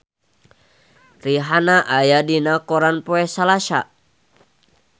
Rihanna aya dina koran poe Salasa